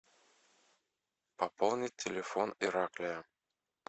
пополнить телефон ираклия